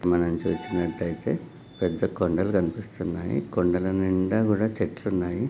మనం చూసినట్లయితే పెద్ద కొండలు కనిపిస్తున్నాయి. కొండల నిండా కూడా చెట్లు ఉన్నాయి.